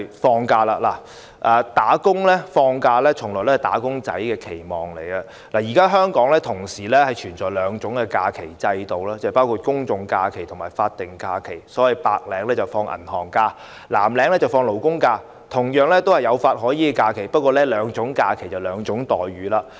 放假從來也是"打工仔"的期望，現時香港同時存在兩種假期制度，即公眾假期和法定假日，白領放銀行假期，藍領放勞工假期，兩種假期同樣有法可依，但卻是兩種待遇。